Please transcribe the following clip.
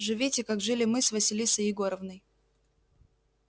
живите как жили мы с василисой егоровной